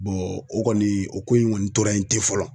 o kɔni o ko in ŋɔni tora yen ten fɔlɔ